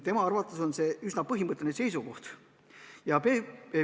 Pevkuri arvates on tegu üsna põhimõttelise seisukohaga.